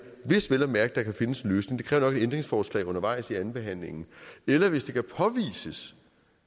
hvis vel at mærke der kan findes en løsning det kræver nok et ændringsforslag undervejs i andenbehandlingen eller hvis det kan påvises